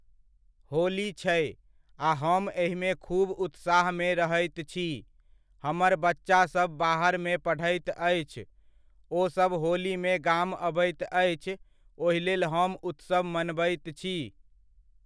होली छै, आ हम एहिमे खूब उत्साहमे रहैत छी, हमर बच्चासभ बाहरमे पढ़ैत अछि, ओसभ होलीमे गाम अबैत अछि, ओहि लेल हम उत्सव मनबैत छी।